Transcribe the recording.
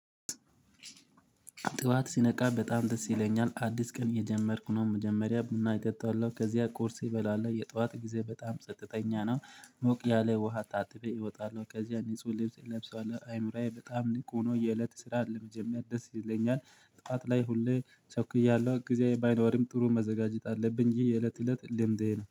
ጥዋት ስነቃ በጣም ደስ ይለኛል አዲስ ቀን እየጀመርኩ ነው መጀመሪያ እና እጠጣለው ከዚያ ቁርሴ እበላለው የጧት ጊዜ በጣም ጸጥተኛ ነው። ሞቅ ያለ ውሃ ታጥቤ እወጣለው ከዚያ ንጹህ ልብስ እለብሳለው አይምሮዬ በጣም ንቁ ሆኖ የእለት ስራ አለ መጀመሪያ ደስ ይለኛል። ጠዋት ላይ ሁሌ ቸኩያለው ጊዜዬ ባይኖርም ጥሩ መዘጋጀት አለብኝ ይህ የእለት እለት ልምዴ ነው